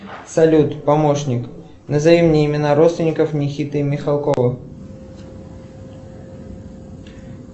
салют помощник назови мне имена родственников никиты михалкова